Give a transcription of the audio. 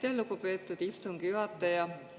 Aitäh, lugupeetud istungi juhataja!